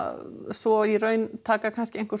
svo í raun taka einhver